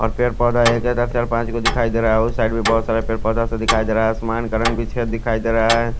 और पेड़ पोधा दिखाई देरा है और साइड में बहोत सारा पेड़ पोधा सा दिखाई देरा है और आसमान का रंग बीचे दिखाई देरा है।